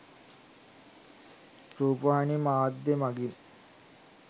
රූපවාහිනි මාධ්‍ය මඟින්